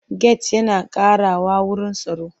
Get yana ƙarawa wuru tsaro.